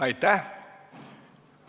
Aitäh!